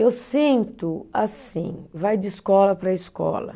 Eu sinto assim, vai de escola para escola.